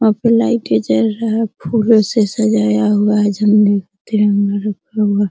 वहाँ पे लाइटे जल रहा है फूलो से सजाया हुआ है --